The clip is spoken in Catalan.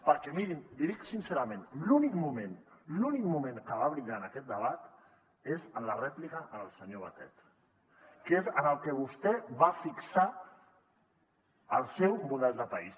perquè mirin l’hi dic sincerament l’únic moment l’únic moment en què va brillar en aquest debat és en la rèplica al senyor batet que és en el que vostè va fixar el seu model de país